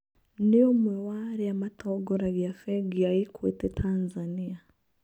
Nĩ ũmwe wa arĩa matongoragia bengi ya equity Tanzania.